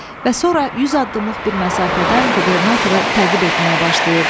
Və sonra 100 addımlıq bir məsafədən qubernatoru təqib etməyə başlayırdı.